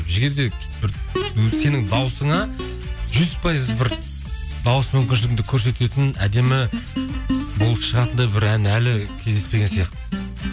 жігер де бір сенің дауысыңа жүз пайыз бір дауыс мүмкіншілігіңді көрсететін әдемі болып шығатындай бір ән әлі кездеспеген сияқты